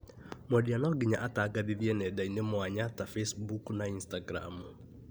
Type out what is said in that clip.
Mwendia no nginya atangathithie nenda-ini mwanya ta facebook na instagram